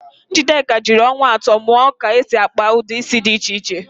Njideka jiri ọnwa atọ mụọ ka esi akpa ụdị ísí dị iche iche.